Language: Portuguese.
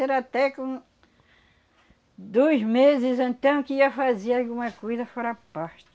Era até com dois meses então que ia fazia alguma coisa fora à parte.